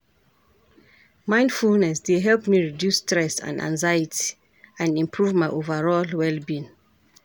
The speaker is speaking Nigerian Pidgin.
Mindfulness dey help me reduce stress and anxiety, and improve my overall well-being.